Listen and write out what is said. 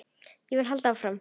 Ég vil halda áfram.